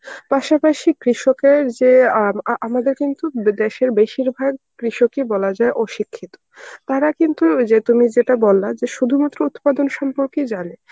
পাশাপাশি কৃষকের যে অ্যাঁ আম~ আমাদের কিন্তু এদেশের বেশিরভাগ কৃষকই বলা যায় অশিক্ষিত. তারা কিন্তু ওই যে তুমি যেটা বললা যে শুধুমাত্র উৎপাদন সম্পর্কেই জানে.